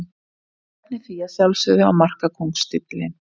Ég stefni því að sjálfsögðu á markakóngstitilinn.